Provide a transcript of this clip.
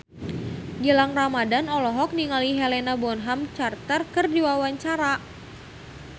Gilang Ramadan olohok ningali Helena Bonham Carter keur diwawancara